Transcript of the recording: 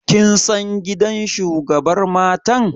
Kin san gidan shugabar matan?